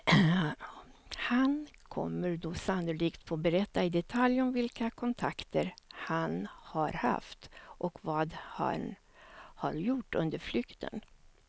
Han kommer då sannolikt få berätta i detalj om vilka kontakter han har haft och vad han har gjort under flykten.